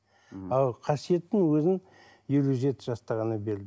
а қасиеттің өзін елу жеті жаста ғана берілді